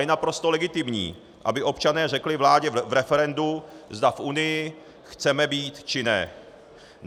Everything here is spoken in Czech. Je naprosto legitimní, aby občané řekli vládě v referendu, zda v Unii chceme být, či ne.